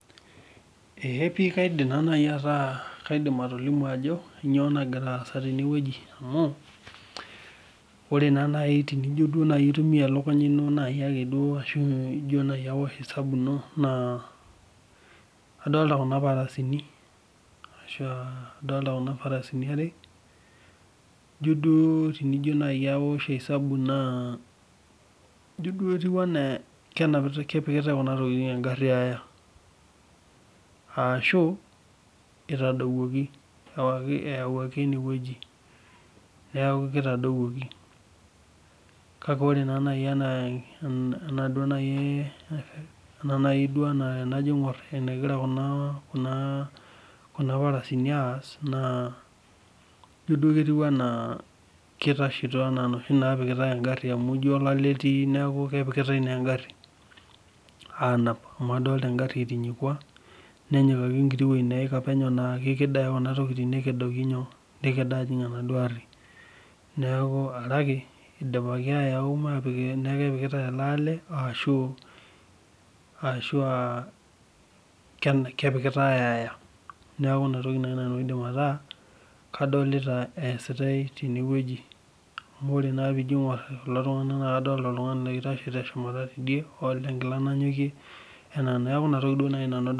Eee pi kaidim atolimu ajo kainyoo nagira aasa teneweji amu, ore naaji tenijo naaji aitumiyia elukunya ino naajia ake ashu ijo naaji aosh esambu ino naa, adolita Kuna parasini are, ijo duo naaji tinijo aosh esabu naa ijo duo kepikita kuna tokiting engari aya ,ashu eitadawuoki ayau eneweji. Kitadowuoki ,kake tenajo naaji aingor enaa enagira kuna parasini aas naa ijo duo kitashito ena noshi naapikitae engari amu ijo duo olale etii neeku naa kepikitae engari anap. Amu adol engari etinyikua ,nenyikaki enkiti weji naa keked ake kuna tokiting neked aajing enaduo ari. Neeku are ake eyauaki metaa kepikitae ele ale ashua kepikitae aya. Neeku inatoki naaji nanu aidim ataa kadolita eesitae teneweji. Amu tinijo naa aingor kulo tunganak naa keetae oloitashe teshumata teidie oota enkila nanyokie neeku ina toki naaji nanu adolita.